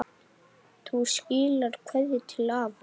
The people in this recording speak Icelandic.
Þú skilar kveðju til afa.